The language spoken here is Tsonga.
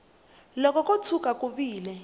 loko ko tshuka ku vile